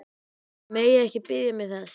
Þið megið ekki biðja mig þess!